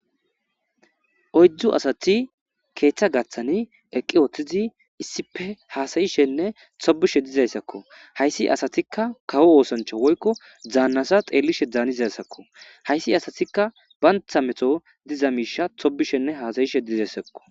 Oyddu asati keeththa gaththani eqqi woththizi issipe haasayishenne tobishe dizayssakko hayssi asatikka kawo oosancha woykko daannta xeellishe danizaysako hayssi asatikka bantha meto diza miisha tobishenne haasayishe dizayssakko.